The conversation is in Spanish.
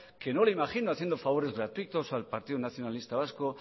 que no le imagino haciendo favores gratuitos al partido nacionalista vasco